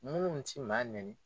Munnu ti maa nɛni